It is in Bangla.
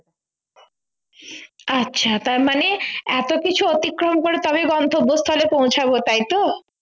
আচ্ছা তার মানে এত কিছু অতিক্রম করে তবেই গন্তব্যস্থলে পৌঁছাবো তাই তো